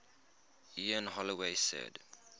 ian holloway said